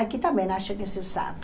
Aqui também acho que se usava.